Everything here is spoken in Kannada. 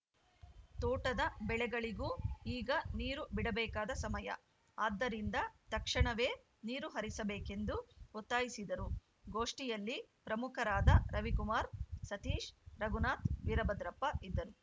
ತೋಟದ ಬೆಳೆಗಳಿಗೂ ಈಗ ನೀರು ಬಿಡಬೇಕಾದ ಸಮಯ ಆದ್ದರಿಂದ ತಕ್ಷಣವೆ ನೀರು ಹರಿಸಬೇಕೆಂದು ಒತ್ತಾಯಿಸಿದರು ಗೋಷ್ಠಿಯಲ್ಲಿ ಪ್ರಮುಖರಾದ ರವಿಕುಮಾರ್‌ ಸತೀಶ್‌ ರಘುನಾಥ್‌ ವೀರಭದ್ರಪ್ಪ ಇದ್ದರು